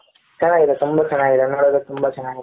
ಚೆನ್ನಾಗಿ ಇದೆ ತುಂಬಾ ಚೆನ್ನಾಗಿ ಇದೆ ನೋಡದಕೆ ತುಂಬಾ ಚೆನ್ನಾಗಿ ಇದೆ .